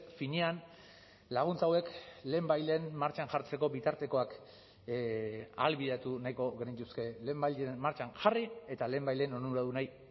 finean laguntza hauek lehenbailehen martxan jartzeko bitartekoak ahalbidetu nahiko genituzke lehenbailehen martxan jarri eta lehenbailehen onuradunei